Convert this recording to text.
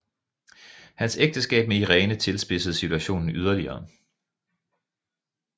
Hans ægteskab med Irene tilspidsede situationen yderligere